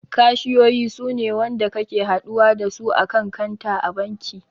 Kashiyoyi suna wanda kake haɗuwa dasu a kan kanta a banki